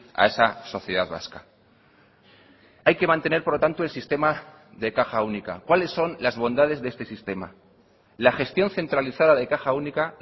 a esa sociedad vasca hay que mantener por lo tanto el sistema de caja única cuáles son las bondades de este sistema la gestión centralizada de caja única